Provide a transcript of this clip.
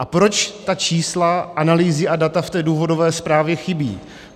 A proč ta čísla, analýzy a data v té důvodové zprávě chybí?